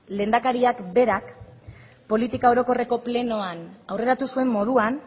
lehendakariak berak politika orokorreko plenoan aurreratu zuen moduan